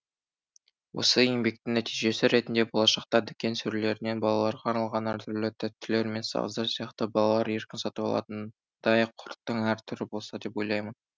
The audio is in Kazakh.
осы еңбектің нәтижесі ретінде болашақта дүкен сөрелерінен балаларға арналған әртүрлі тәттілер мен сағыздар сияқты балалар еркін сатып алатындай құрттың әр түрі болса деп ойлаймын